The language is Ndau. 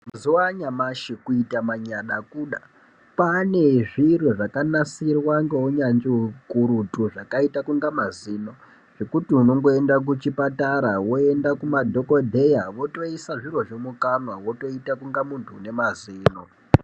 Mazuwa anyamashi kuita manyada kuda kwaane zviro zvakanasirwa ngeunyazvi ukurutu zvakaita kunga mazino zvekuti unongoenda kuchipatara woenda kumadhokodheya votoisa zvirozvo mukanwa wotoita kunga munhu une mazino.